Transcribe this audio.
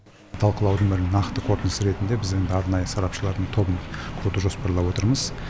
талқылаудың нақты қорытындысы ретінде біз енді арнайы сарапшылардың тобын құруды жоспарлап отырмыз